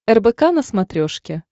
рбк на смотрешке